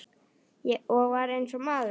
Og var eins og maður.